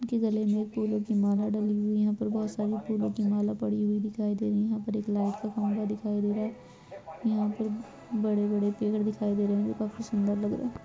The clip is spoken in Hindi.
इनके गले में फूलों की माला डली हुई है यहाँ पर बहुत सारी फूलों की माला पड़ी हुई दिखाई दे रही है यहाँ पर लाइट का खंबा दिखाई दे रहा है यहाँ पे बड़े बड़े पेड़ दिखाई दे रहा है जो काफी सुंदर लग रहे हैं।